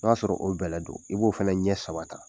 N'o y'a sɔrɔ o bɛlɛ do i b'o fɛnɛ ɲɛ saba ta.